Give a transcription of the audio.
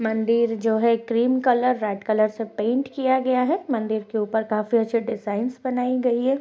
मंदिर जो है क्रीम कलर रेड कलर से पेंट किया गया है। मंदिर के ऊपर काफी अच्छे डिजाइनस बनाई गई है।